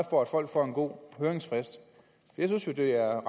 for at folk får en god høringsfrist jeg synes jo det er